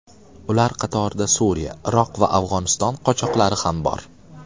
Ular qatorida Suriya, Iroq va Afg‘oniston qochoqlari ham bor.